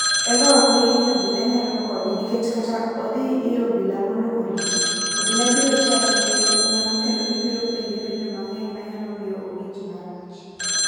Eva ok oyie ni obila nyalo konye nikech kata ka odhi ir obila mondo orite, obila biro chaye nikech en nyako kendo gibiro penje penjo mang'eny manyalo miyo owinj marach.